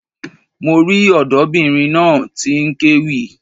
Mo rí ọ̀dọ́bìnrin náà tí n kéwì